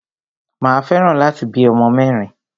Mà a fẹ́ràn láti bí ọmọ mẹ́rin.